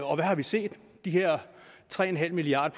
og hvad har vi set de her tre milliard